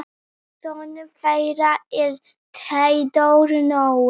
Sonur þeirra er Theodór Nói.